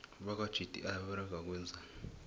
bakwa gti baberega ukwenzani